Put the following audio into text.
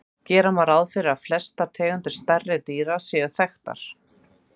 Gera má ráð fyrir að flestar tegundir stærri dýra séu þekktar.